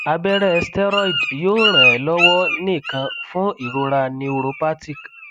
abẹrẹ steroid yoo ran e lọwọ nikan fun irora [c] neuropathic